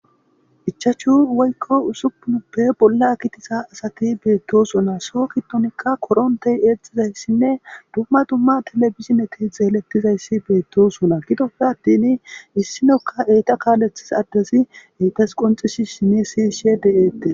Ichachu woykko usupunuppe bolla kitisa asati beettosona so kitonikka korontey eexxizayssinne dumma dumma telebizineti zeelettizayssi beetto sona gidoppe attin issinokka eyta kaalethis addesi eetas qonxisi sini sishe de7eette.